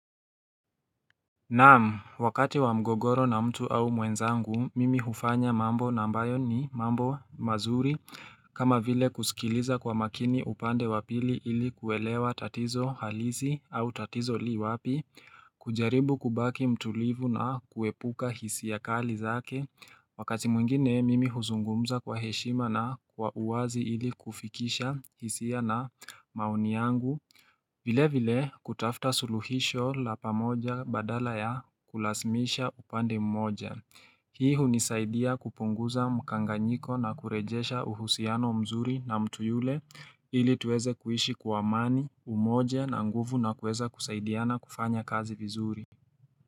Naam, wakati wa mgogoro na mtu au mwenzangu, mimi hufanya mambo na ambayo ni mambo mazuri, kama vile kusikiliza kwa makini upande wa pili ili kuelewa tatizo halisi au tatizo li wapi, kujaribu kubaki mtulivu na kuepuka hisia kali zake, wakati mwengine mimi huzungumza kwa heshima na kwa uwazi ili kufikisha hisia na maoni yangu, vile vile kutafta suluhisho la pamoja badala ya kulasimisha upande mmoja. Hii hunisaidia kupunguza mkanganyiko na kurejesha uhusiano mzuri na mtu yule ili tuweze kuishi kwa amani umoja na nguvu na kuweza kusaidiana kufanya kazi vizuri.